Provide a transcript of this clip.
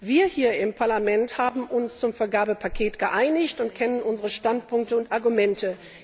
Wir hier im Parlament haben uns zum Vergabepaket geeinigt und kennen unsere Standpunkte und Argumente.